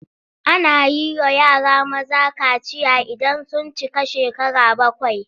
Ana yi wa yara maza kaciya idan sun cika shekara bakwai.